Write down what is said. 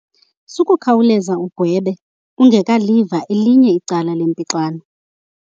Sukukhawuleza ugwebe ungekaliva elinye icala lempixano.